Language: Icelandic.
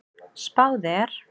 Spáð er